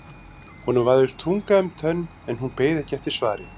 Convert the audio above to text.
Honum vafðist tunga um tönn en hún beið ekki eftir svari.